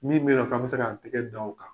Min be yen nɔ k'an bi se k'an tɛgɛ da o kan